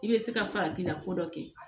I bɛ se ka faratila ko dɔ kɛ